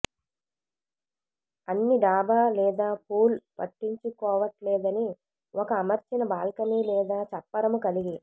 అన్ని డాబా లేదా పూల్ పట్టించుకోవట్లేదని ఒక అమర్చిన బాల్కనీ లేదా చప్పరము కలిగి